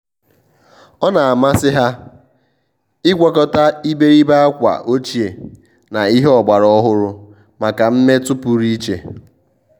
ọ́ nà-àmàsị́ há ị́gwakọta ìbèrìbè ákwà ọ́chíè na ìhè ọ́gbàrà ọ́hụ́rụ́ màkà mmètụ́ pụrụ iche.